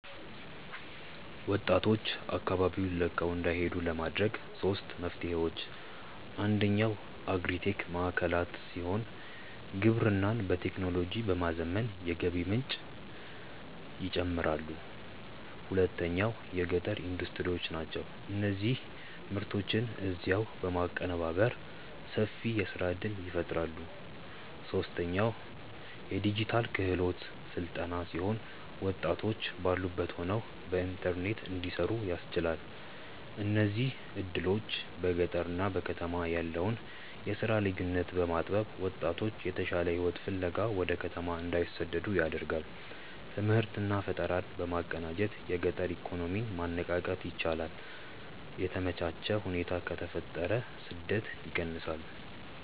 ወጣቶች አካባቢውን ለቀው እንዳይሄዱ ለማድረግ ሦስት መፍትሄዎች፦ አንደኛው አግሪ-ቴክ ማዕከላት ሲሆኑ፣ ግብርናን በቴክኖሎጂ በማዘመን የገቢ ምንጭን ይጨምራሉ። ሁለተኛው የገጠር ኢንዱስትሪዎች ናቸው፤ እነዚህ ምርቶችን እዚያው በማቀነባበር ሰፊ የሥራ ዕድል ይፈጥራሉ። ሦስተኛው የዲጂታል ክህሎት ሥልጠና ሲሆን፣ ወጣቶች ባሉበት ሆነው በኢንተርኔት እንዲሠሩ ያስችላል። እነዚህ ዕድሎች በገጠርና በከተማ ያለውን የሥራ ልዩነት በማጥበብ ወጣቶች የተሻለ ሕይወት ፍለጋ ወደ ከተማ እንዳይሰደዱ ያደርጋሉ። ትምህርትና ፈጠራን በማቀናጀት የገጠር ኢኮኖሚን ማነቃቃት ይቻላል። የተመቻቸ ሁኔታ ከተፈጠረ ስደት ይቀንሳል።